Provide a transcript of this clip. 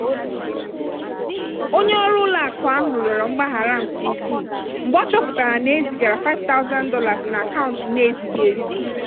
onye ọrụ ụlọ akụ ahụ rịọrọ mgbaghara nke ukwuu mgbe ọ chọpụtara na e zigara $5000 n'akaụntụ na-ezighị ezi.